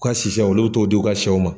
U ka sishɛw olu bɛ t'o di u ka shɛw ma.